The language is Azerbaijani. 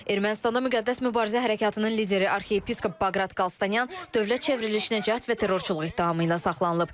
Ermənistanda müqəddəs mübarizə hərəkatının lideri arxiyepiskop Baqrat Qalstanyan dövlət çevrilişinə cəhd və terrorçuluq ittihamı ilə saxlanılıb.